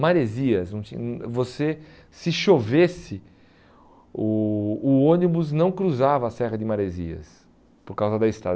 Maresias, você se chovesse, o o ônibus não cruzava a Serra de Maresias por causa da estrada.